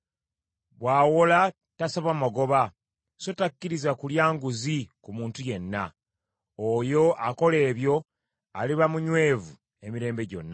Bw’awola tasaba magoba; so takkiriza kulya nguzi ku muntu yenna. Oyo akola ebyo aliba munywevu emirembe gyonna.